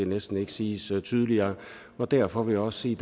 næsten ikke siges tydeligere og derfor vil jeg også sige